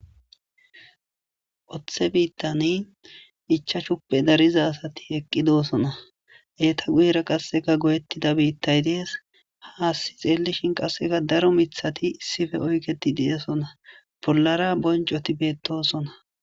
Othe biitani ichashupe darida asati eqqidosona. Eeta guyera qassika goyettida biitay dees. Haasi xeellishin qasseka daro mithati issipe oyketti de7oosona. Bollara bonccoti beettosona.